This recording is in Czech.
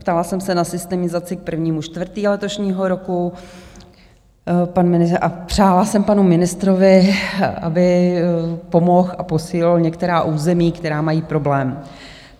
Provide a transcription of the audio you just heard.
Ptala jsem se na systemizaci k 1. 4. letošního roku a přála jsem panu ministrovi, aby pomohl, a posílil některá území, která mají problém.